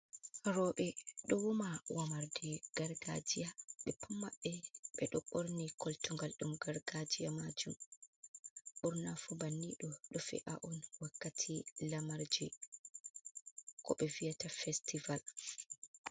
Roɓe ɗo woma womarde gargajiya ɓe pat maɓɓe ɓe ɗo ɓorni koltugal ɗum gargajiya majum ɓurnafu ɓanniɗo ɗo fe’a on wakkati lamarji ko ɓe viyata festival.